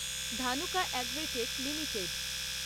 Dhanuka agritech limited